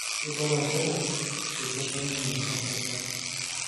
Keibala njere eitu apa ninye eshipa